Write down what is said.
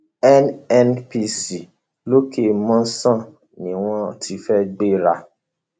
nnpc lọkẹmòsàn ni wọn ti fẹẹ gbéra